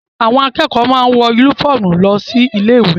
Àwọn akẹ́kọ̀ọ́ máa ń wọ únífọ́ọ́mù lọ ilé-ìwé.